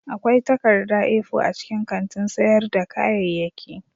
Akwai takarda A4 a cikin kantin sayar da kayayyaki